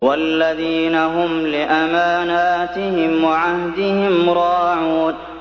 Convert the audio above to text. وَالَّذِينَ هُمْ لِأَمَانَاتِهِمْ وَعَهْدِهِمْ رَاعُونَ